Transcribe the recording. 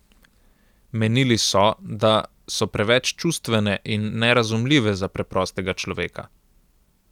Menili so, da so preveč čustvene in nerazumljive za preprostega človeka.